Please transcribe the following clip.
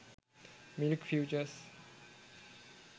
milk futures